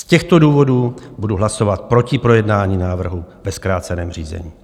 Z těchto důvodů budu hlasovat proti projednání návrhu ve zkráceném řízení.